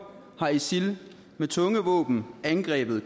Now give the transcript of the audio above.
har isil med tunge våben angrebet